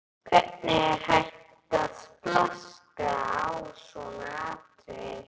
Hvernig er hægt að flaska á svona atriði?